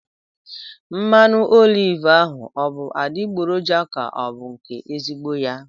Mmanụ oliv ahụ ọ bụ adịgboroja ka ọ bụ nke ezigbo ya?